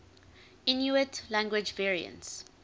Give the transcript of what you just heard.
inuit language variants